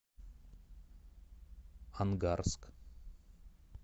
ангарск